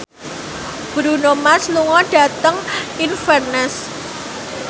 Bruno Mars lunga dhateng Inverness